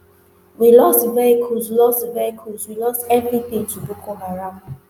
we lost vehicles lost vehicles we lost evritin to boko haram